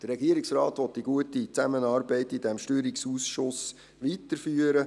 Der Regierungsrat will die gute Zusammenarbeit in diesem Steuerungsausschuss weiterführen.